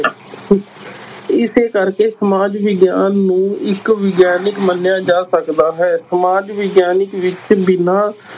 ਇਸੇ ਕਰਕੇ ਸਮਾਜ ਵਿਗਿਆਨ ਨੂੰ ਇਕ ਵਿਗਿਆਨਕ ਮੰਨਿਆ ਜਾ ਸਕਦਾ ਹੈ, ਸਮਾਜ ਵਿਗਿਆਨਕ ਵਿੱਚ ਬਿਨਾਂ